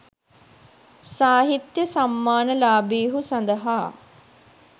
සාහිත්‍ය සම්මාන ලාභීහු සඳහා